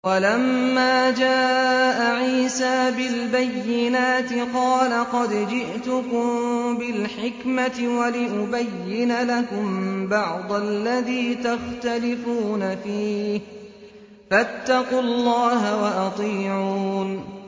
وَلَمَّا جَاءَ عِيسَىٰ بِالْبَيِّنَاتِ قَالَ قَدْ جِئْتُكُم بِالْحِكْمَةِ وَلِأُبَيِّنَ لَكُم بَعْضَ الَّذِي تَخْتَلِفُونَ فِيهِ ۖ فَاتَّقُوا اللَّهَ وَأَطِيعُونِ